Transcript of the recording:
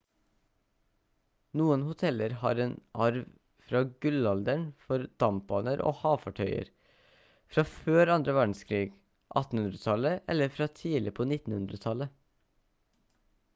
noen hoteller har en arv fra gullalderen for dampbaner og havfartøyer fra før andre verdenskrig 1800-tallet eller fra tidlig på 1900-tallet